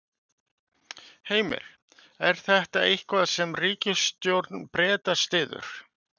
Heimir: Er þetta eitthvað sem ríkisstjórn Breta styður?